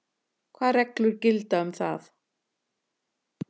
Hvað reglur gilda um það?